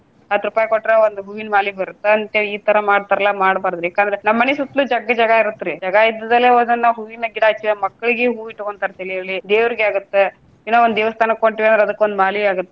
ಹತ್ತ್ ರೂಪಾಯಿ ಕೊಟ್ರ ಒಂದ್ ಹೂವಿನ ಮಾಲಿ ಬರುತ್ತಾ ಅಂತ ಹೇಳಿ ಈ ತರಾ ಮಾಡ್ತಾರ್ಲಾ ಮಾಡಬಾರ್ದರಿ ಯಾಕಂದ್ರೆ ನಮ್ಮ ಮನಿ ಸುತ್ಲು ಜಗ್ಲಿ ಜಗಾ ಇರುತ್ರಿ ಜಗಾ ಇದ್ದದಲ್ಲೇ ಒಂದೊಂದ ನಾವ ಹೂವಿನ ಗಿಡಾ ಹಚ್ಚಿವ ಅಂದ್ರ ಮಕ್ಳಿಗೆ ಹೂವ ಇಟ್ಟಕೊಂತಾರ ತಲೆಯಲ್ಲಿ, ದೇವ್ರಿಗೆ ಆಗುತ್ತೆ. ಏನೊ ಒಂದ ದೇವಸ್ಥಾನಕ್ಕ ಕೊಟ್ವಿ ಅಂದ್ರ ಅದಕ್ಕೊಂದ ಮಾಲಿ ಆಗುತ್ತೆ.